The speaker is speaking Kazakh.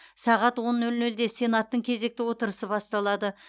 сағат он нөл нөлде сенаттың кезекті отырысы басталады